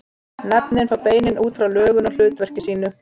Nöfnin fá beinin út frá lögun og hlutverki sínu.